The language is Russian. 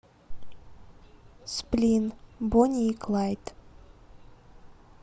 сплин бонни и клайд